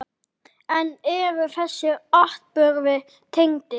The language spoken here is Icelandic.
En eru þessir atburðir tengdir?